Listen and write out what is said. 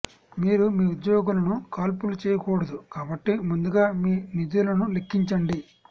మీరు మీ ఉద్యోగులను కాల్పులు చేయకూడదు కాబట్టి ముందుగా మీ నిధులను లెక్కించండి